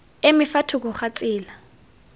eme fa thoko ga tsela